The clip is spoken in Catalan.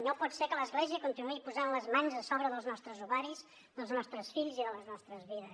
no pot ser que l’església continuï posant les mans a sobre dels nostres ovaris dels nostres fills i de les nostres vides